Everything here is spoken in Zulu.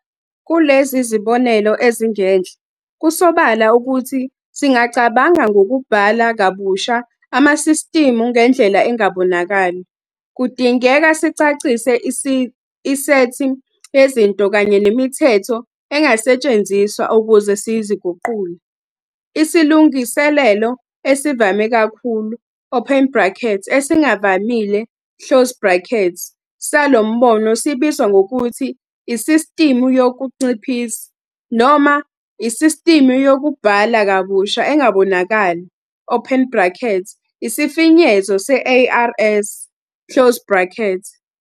Kulezi zibonelo ezingenhla, kusobala ukuthi singacabanga ngokubhala kabusha amasistimu ngendlela engabonakali. Kudingeka sicacise isethi yezinto kanye nemithetho engasetshenziswa ukuze siziguqule. Isilungiselelo esivame kakhulu, open brackets, esingavamile, close brackets, salo mbono sibizwa ngokuthi "isistimu yokunciphisa" noma "isistimu yokubhala kabusha engabonakali", open brackets, isifinyezo se-"ARS", close brackets.